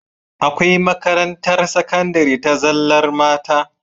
Akwai makarantar sakandari ta zallar mata